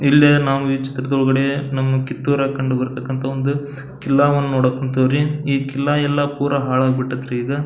ಇಲ್ಲೆ ನಾವು ಈ ಚಿತ್ರದ್ ಒಳಗಡೆ ನಾವು ಕಿತ್ತೂರ್ ಅಲ್ಲಿ ಕಂಡು ಬರ್ತಕ್ಕಂಥ ಒಂದು ಕಿಲ್ಲ ವನ್ನು ನೋಡಕ್ಹೋಗತೀವ್ರಿ ಈ ಕಿಲ್ಲ ಎಲ್ಲ ಪುರ ಹಾಳಾಗಿ ಬಿಟ್ಟೈತ್ರಿ ಈಗ.